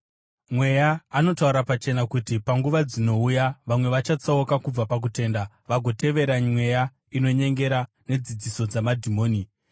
Mweya anotaura pachena kuti panguva dzinouya vamwe vachatsauka kubva pakutenda vagotevera mweya inonyengera nedzidziso dzamadhimoni.